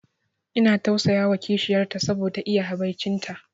Ina tausayawa kishiyar ta saboda iya habaici ta